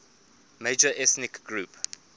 major ethnic group